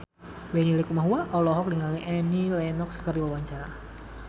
Benny Likumahua olohok ningali Annie Lenox keur diwawancara